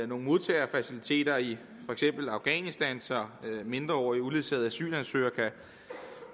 nogle modtagefaciliteter i for eksempel afghanistan så mindreårige uledsagede asylansøgere kan